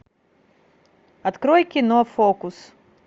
открой кино фокус